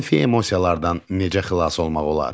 Mənfi emosiyalardan necə xilas olmaq olar?